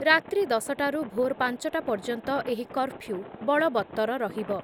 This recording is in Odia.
ରାତ୍ରି ଦଶ ଟାରୁ ଭୋର୍ ପାଂଚ ଟା ପର୍ଯ୍ୟନ୍ତ ଏହି କର୍ଫ୍ଯୁ ବଳବତ୍ତର ରହିବ ।